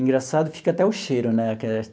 Engraçado fica até o cheiro, né?